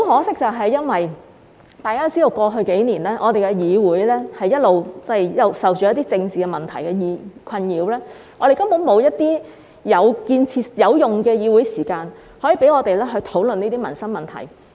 但是，很可惜，大家知道過去數年，我們的議會一直受到政治問題困擾，我們根本沒有有用的議會時間，可以讓我們討論這些民生問題。